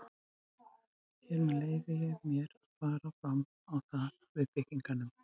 Hér með leyfi ég mér, að fara fram á það við byggingarnefnd